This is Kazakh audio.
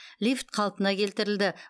лифт қалпына келтірілді